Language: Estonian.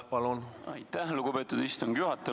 Aitäh, lugupeetud istungi juhataja!